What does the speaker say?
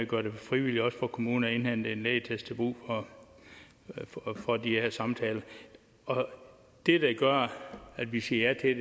gør det frivilligt for kommunerne at indhente en lægeattest til brug for de her samtaler det der gør at vi siger ja